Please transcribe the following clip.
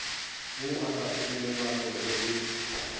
wo o sa sepelelanego le